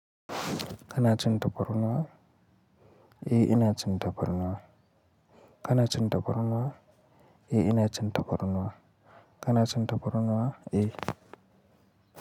E ina cin tafarnuwa, kan cin tafarnuwa? E ina cin tafarnuwa, kana cin tafarnuwa eh.